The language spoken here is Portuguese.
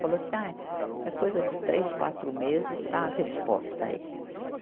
Falou assim, ai, é coisa de três, quatro meses, está a resposta aí.